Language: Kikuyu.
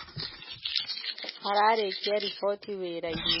Ararĩkia riboti wĩra-inĩ